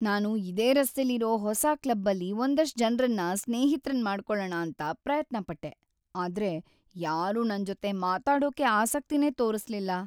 ನಾನು ಇದೇ ರಸ್ತೆಲಿರೋ ಹೊಸ ಕ್ಲಬ್ಬಲ್ಲಿ‌ ಒಂದಷ್ಟ್‌ ಜನ್ರನ್ನ ಸ್ನೇಹಿತ್ರನ್ ಮಾಡ್ಕೊಳಣ ಅಂತ ಪ್ರಯತ್ನ ಪಟ್ಟೆ, ಆದ್ರೆ ಯಾರೂ ನನ್ಜೊತೆ ಮಾತಾಡೋಕೆ ಆಸಕ್ತಿನೇ ತೋರಿಸ್ಲಿಲ್ಲ.